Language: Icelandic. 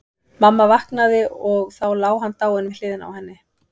Mamma vaknaði og þá lá hann dáinn við hliðina á henni.